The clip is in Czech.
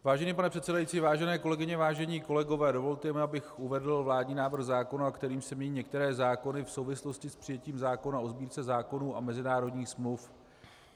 Vážený pane předsedající, vážené kolegyně, vážení kolegové, dovolte mi, abych uvedl vládní návrh zákona, kterým se mění některé zákony v souvislosti s přijetím zákona o Sbírce zákonů a mezinárodních smluv.